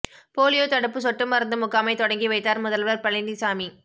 polio தடுப்பு சொட்டு மருந்து முகாமை தொடங்கி வைத்தார் முதல்வர் பழனிசாமி